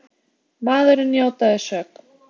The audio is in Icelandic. Maðurinn játaði sök